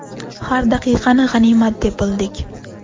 Har daqiqani g‘animat deb bildik.